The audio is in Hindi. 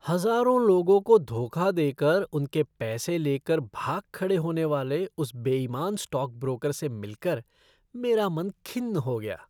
हज़ारों लोगों को धोखा देकर उनके पैसे लेकर भाग खड़े होने वाले उस बेईमान स्टॉकब्रोकर से मिलकर मेरा मन खिन्न हो गया।